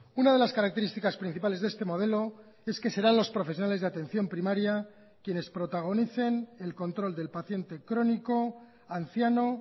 una de las características principales de este modelo es que serán los profesionales de atención primaria quienes protagonicen el control del paciente crónico anciano